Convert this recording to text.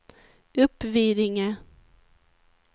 Uppvidinge